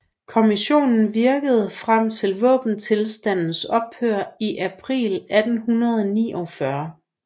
Kommissionen virkede frem til våbenstilstandens ophør i april 1849